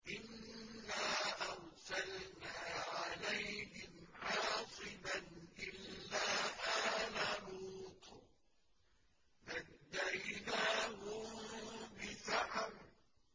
إِنَّا أَرْسَلْنَا عَلَيْهِمْ حَاصِبًا إِلَّا آلَ لُوطٍ ۖ نَّجَّيْنَاهُم بِسَحَرٍ